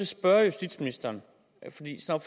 spørge justitsministeren